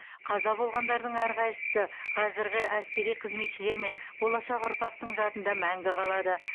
қаза болғандардың әрқайсысы қазіргі әскери қызметшілер мен болашақ ұрпақтың жадында мәңгі қалады